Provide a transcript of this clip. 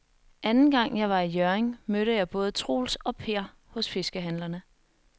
Anden gang jeg var i Hjørring, mødte jeg både Troels og Per hos fiskehandlerne.